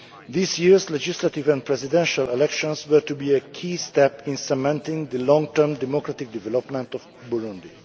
This year's legislative and presidential elections were to be a key step in cementing the long term democratic development of Burundi.